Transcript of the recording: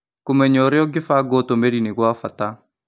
Kũmenya ũrĩa ũngĩbanga ũtũmĩri nĩ gwa bata.